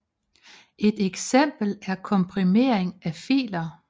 Et eksempel er komprimering af filer